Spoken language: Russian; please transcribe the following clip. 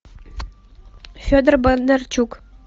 федор бондарчук